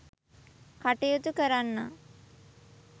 කටයුතු කරන්නා